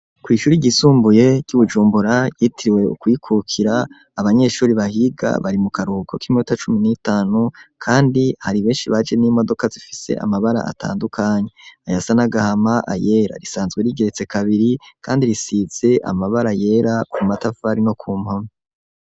Ku ishure ryisumbuye ry'uBujumbura yitiriwe kuyikukira abanyeshure bahiga bari mu karuhuko kiminota cumi nitanu kandi hari benshi baje n'imodoka zifise amabara atandukanye ayasa n'agahama, ayera risanzwe rigeretse kabiri kandi risize amabara yera ku matafari no ku mpome.